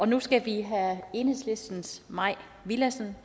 nu skal vi have enhedslistens mai villadsen